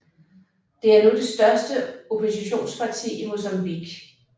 Det er nu det største oppositionsparti i Mozambique